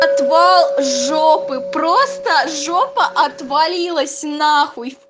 отвал жопы просто жопа отвалилась нахуй